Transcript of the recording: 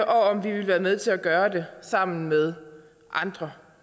om vi vil være med til at gøre det sammen med andre